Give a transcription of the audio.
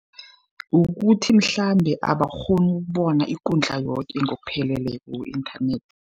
Ukuthi mhlambe abakghoni ukubona ikundla yoke ngokupheleleko ku-inthanethi.